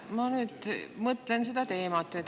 Ma nüüd mõtlen sellele teemale.